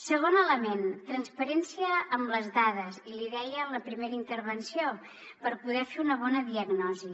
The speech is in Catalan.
segon element transparència amb les dades i l’hi deia en la primera intervenció per poder fer una bona diagnosi